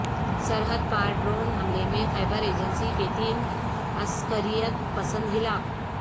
سرحد پار ڈرون حملے میں خبیر ایجنسی کے تین عسکریت پسند ہلاک